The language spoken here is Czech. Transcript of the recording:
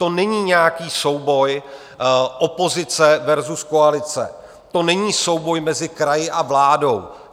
To není nějaký souboj opozice versus koalice, to není souboj mezi kraji a vládou.